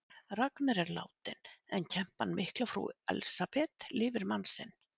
Ragnar er látinn en kempan mikla frú Elsabet lifir mann sinn.